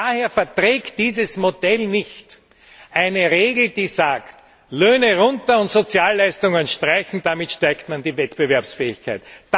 Und daher verträgt dieses Modell nicht eine Regel, die sagt Löhne runter und Sozialleistungen streichen, damit steigert man die Wettbewerbsfähigkeit.